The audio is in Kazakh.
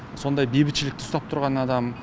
сондай бейбітшілікті ұстап тұрған адам